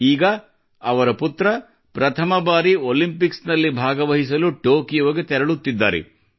ಈಗ ಅವರ ಪುತ್ರ ಪ್ರಥಮ ಬಾರಿ ಒಲಿಂಪಿಕ್ಸ್ ನಲ್ಲಿ ಭಾಗವಹಿಸಲು ಟೊಕೊಯೋಗೆ ತೆರಳುತ್ತಿದ್ದಾರೆ